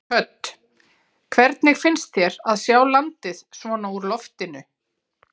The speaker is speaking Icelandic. Hödd: Hvernig finnst þér að sjá landið svona úr loftinu?